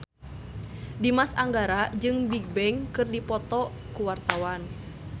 Dimas Anggara jeung Bigbang keur dipoto ku wartawan